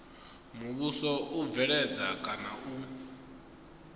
muvhuso u bveledza kana u